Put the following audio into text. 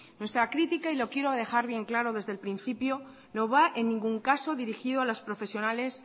nuestra crítica lo quiero dejar bien claro desde el principio no va en ningún caso dirigido a los profesionales